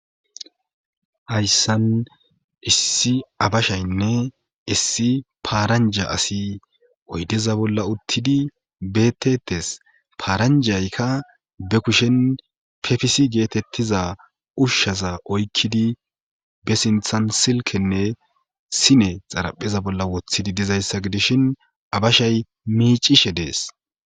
hayssan issi abashaynne issi paaranja asi oydeza bolla uttidi betetes paaranjaykka be kushen pefisi geetettiza ushshaza oykkidi be sinthan silkenne sine xarapheza bolla wothidi dizayssa gidishin abashay miicishe dees